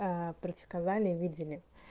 предсказали видели